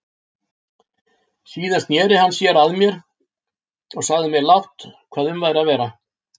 Síðan sneri hann sér að mér og sagði mér lágt hvað um væri að vera.